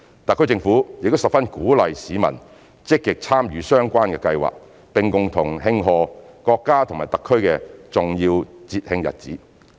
特區政府亦十分鼓勵市民積極參與相關計劃，並共同慶賀國家和特區的重要節慶日子。